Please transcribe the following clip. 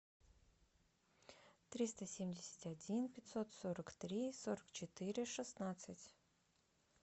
триста семьдесят один пятьсот сорок три сорок четыре шестнадцать